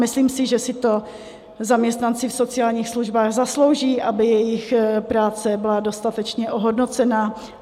Myslím si, že si to zaměstnanci v sociálních službách zaslouží, aby jejich práce byla dostatečně ohodnocena.